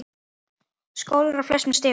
Skólar á flestum stigum.